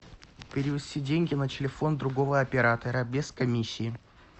перевести деньги на телефон другого оператора без комиссии